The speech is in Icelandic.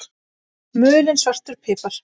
Mulinn svartur pipar